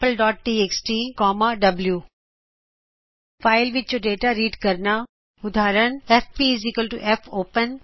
FP fopensampleਟੀਐਕਸਟੀ W file ਵਿਚੋਂ data read ਕਰਨਾ ਉਦਾਹਰਨਐਫਪੀ ਐਫਓਪੇਨsampletxtਰ